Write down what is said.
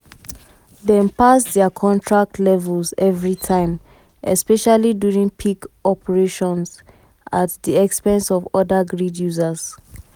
dem pass dia contract levels evritime especially during peak operations at di di expense of oda grid users. um